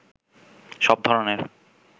সব ধরনের